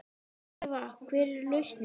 Eva: Hver er lausnin?